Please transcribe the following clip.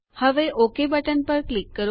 હવે ઓક પર ક્લિક કરો